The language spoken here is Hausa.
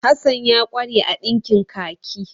Hasan ya ƙware a ɗinkin kaki.